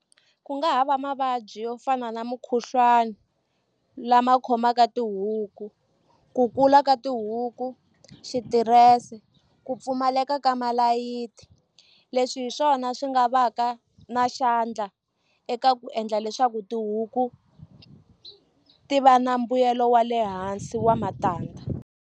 Ku nga ha va mavabyi yo fana na mukhuhlwani lama khomaka tihuku ku kula ka tihuku xitirese ku pfumaleka ka malayiti leswi hi swona swi nga va ka na xandla eka ku endla leswaku tihuku ti va na mbuyelo wa le hansi wa matandza.